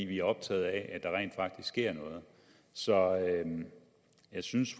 vi er optaget af at der rent faktisk sker noget så jeg synes